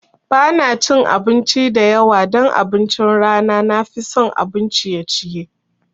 Ba na cin abinci da yawa don abincin rana, na fi son abun ciye ciye.